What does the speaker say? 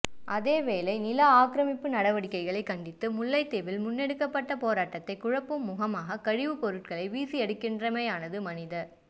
அதேவேளை நில ஆக்கிரமிப்பு நடவடிக்கைகளை கண்டித்து முல்லைத்தீவில் முன்னெடுக்கப்பட்ட போராட்டத்தை குழப்பும் முகமாக கழிவுப்பொருட்களை வீசியிருக்கின்றமையானது மனித